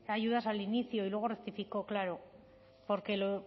ayudas al inicio y luego rectificó claro